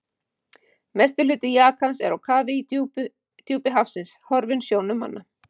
Mestur hluti jakans er á kafi í djúpi hafsins, horfinn sjónum manna.